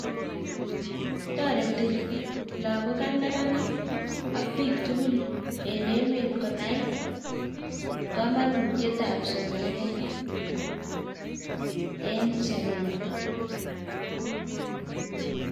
Toretii logook ak neranik ak biik tugul en emet konai komonutietab somanet en sobenywan